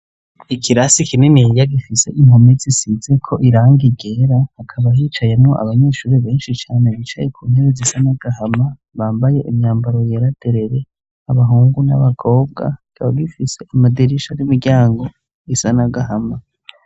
Ikirasi kininiya gifise impome zisizeko irangi ryera, hakaba hicayemwo abanyeshuri benshi cane bicaye ku ntebe zisa n'agahama bambaye imyambaro yera derere, abahungu n'abagobwa, kikaba gifise amadirisha n'imiryango isa n'agahama.